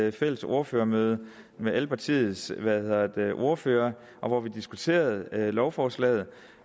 et fælles ordførermøde med alle partiernes ordførere hvor vi diskuterede lovforslaget